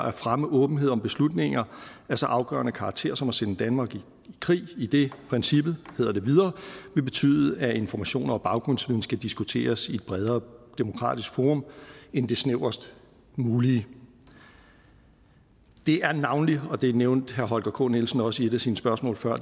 at fremme åbenhed om beslutninger af så afgørende karakter som at sende danmark i krig idet princippet hedder det videre vil betyde at informationer og baggrundsviden skal diskuteres i et bredere demokratisk forum end det snævrest mulige det er navnlig og det nævnte herre holger k nielsen også i et af sine spørgsmål før